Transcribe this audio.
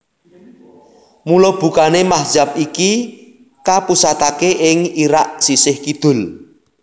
Mula bukané mazhab iki kapusataké ing Irak sisih kidul